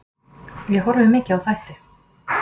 Ég horfi mikið á þætti.